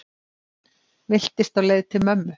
Villtist á leið til mömmu